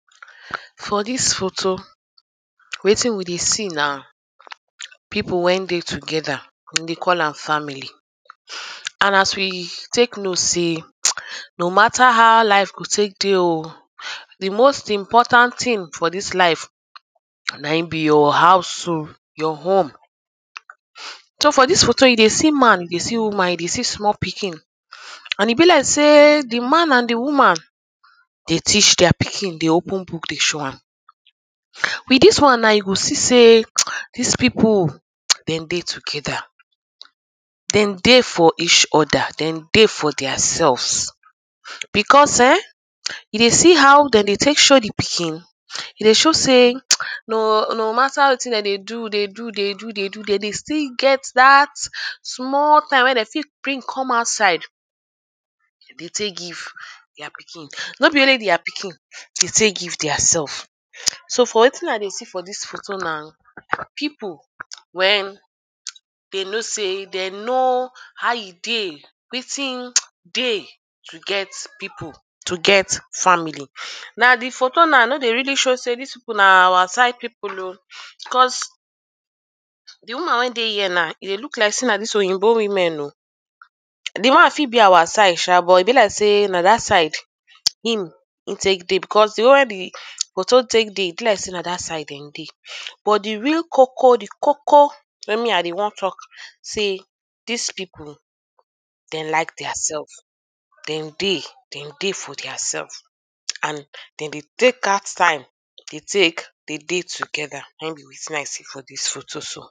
For dis photo wetin we dey see na urh people when dey together. Dem dey call am family. er And as we take know sey no matter how life go take dey oh the most important things for dis life na im be your house oh, your home. ern So for dis photo you dey see man dey see woman, you dey see small pikin urh. E be like sey the man and the woman they teach their pikin. They open book dey show am. With dis one now, you go see sey um this people um dem dey together. Dem dey for each other. Dem dey for theirself because erm you dey see how dem dey take show the pikin e dey sho sey um no no matter wetin dem dey do dey do dey do dey do dem dey still get dat small time when dem still bring come outside. Dem dey take give their pikin. No be only their pikin, they take give theirself. So for wetin i dey see for dis photo na people when urh they know sey de know how e dey. Wetin um dey to get people, to get family. Na the photo now no dey really show sey dis people na our side people oh because the woman wey dey here now, e dey look like sey na dis Oyinbo women oh. The man fit be our side sha but e like sey na dat side um him im take dey because the way when the photo take dey, e be like sey na dat side dem dey. But the real koko, the koko wey me i be wan talk sey dis people dem like their self. Dem dey dem dey for their self um and dem dey take out time dey take they dey together. Na im be wetin i see for dis photo so.